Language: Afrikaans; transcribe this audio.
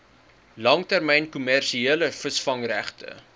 langtermyn kommersiële visvangregte